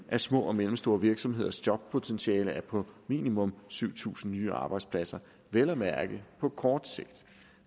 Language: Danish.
at små og mellemstore virksomheders jobpotentiale er på minimum syv tusind nye arbejdspladser vel at mærke på kort sigt